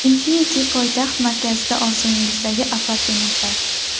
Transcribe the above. Infinity poytaxt markazida orzungizdagi apartamentlar.